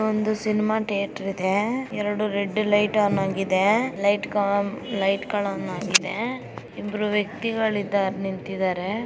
ಒಂದು cinema theatre ಇದೆ ಎರಡು ರೆಡ್ ಲೈಟ್ ಆನ್ ಆಗಿದೆ . ಲೈಟ್ ಗಳಾಗಿದೆ ಇಬ್ರು ವ್ಯಕ್ತಿಗಳು ನಿಂತಿದಾರೆ .